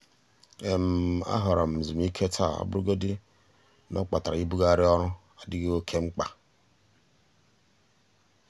a họọrọ m nzumike taa ọbụrụgodị na ọ kpatara ibugharị orụ adịghị oke mkpa.